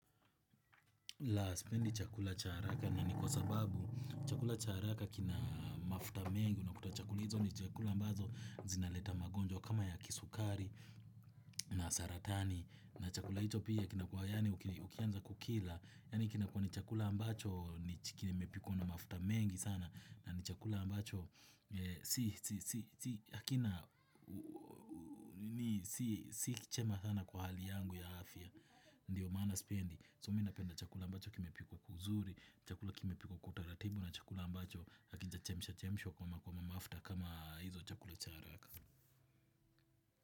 La spendi chakula cha haraka ni kwa sababu chakula cha haraka kina mafuta mengi. Unakuta chakula hizo ni chakula ambazo zinaleta magonjwa kama ya kisukari na saratani. Na chakula hicho pia kinakua yaani ukianza kukila. Yaani kinakua ni chakula ambacho ni kimepikwa na mafuta mengi sana. Na ni chakula ambacho si chema sana kwa hali yangu ya afya. Ndiyo mana sipendi So mimi napenda chakula ambacho kimepikwa kwa uzuri. Chakula kimepikwa kwa utaratibu. Na chakula ambacho hakijachemsha chemsha kama kwa mafuta kama hizo chakula cha haraka.